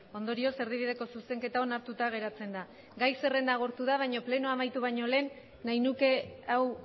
ondorioz erdibideko zuzenketa onartuta geratzen da gai zerrenda agortu da baina plenoa amaitu baino lehen nahi nuke hau